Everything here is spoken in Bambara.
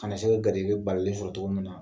Kana se ka garisɛgɛ balalen sɔrɔ cogo min na